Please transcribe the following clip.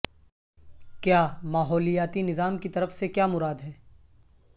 کیا ماحولیاتی نظام کی طرف سے کیا مراد ہے